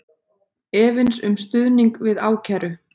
Efins um stuðning við ákæru